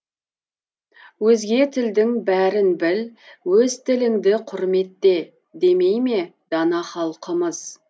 өзге тілдің бәрін біл өз тіліңді құрметте демейме дана халқымыз